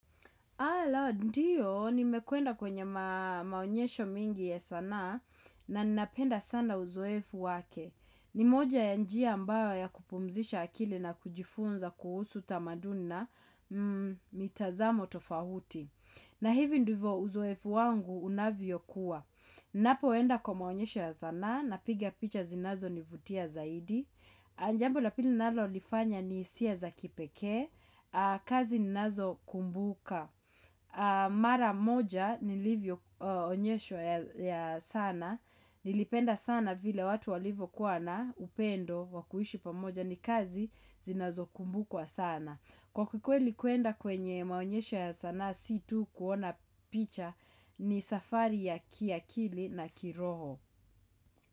Ala, ndiyo, nimekwenda kwenye maonyesho mengi ya sana, na ninapenda sana uzoefu wake. Nimoja ya njia ambayo ya kupumzisha akili na kujifunza kuhusu tamaduni, na mitazamo tofauti. Na hivi ndivyo uzoefu wangu unavyo kuwa. Napoenda kwa maonyesho ya sanaa, na piga picha zinazo nivutia zaidi. Njambo lapili ninalo lifanya ni hisia za kipekee, kazi ninazo kumbuka. Mara moja nilivyo onyeshwa ya sana Nilipenda sana vile watu walivyo kuwana upendo wakuishi pamoja ni kazi zinazokumbukwa sana Kwa kikwe li kuenda kwenye maonyesho ya sana si tu kuona picha ni safari ya kiakili na kiroho.